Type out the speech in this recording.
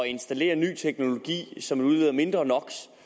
installere ny teknologi som udleder mindre no